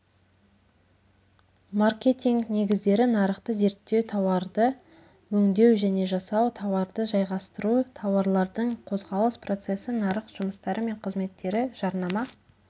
маркетинг негіздері нарықты зерттеу тауарды өңдеу және жасау тауарды жайғастыру тауарлардың қозғалыс процесі нарық жұмыстары мен қызметтері жарнама